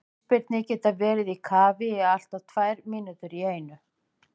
Ísbirnir geta verið í kafi í allt að tvær mínútur í einu.